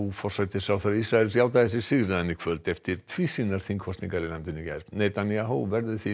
forsætisráðherra Ísraels játaði sig sigraðan í kvöld eftir tvísýnar þingkosningar í landinu í gær Netanyahu verður því